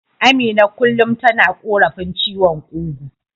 Amina kullum tana korafin ciwon kugu.